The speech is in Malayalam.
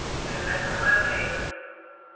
പിന്നെ അമ്മ എന്തെ യ്യ്ന്ന്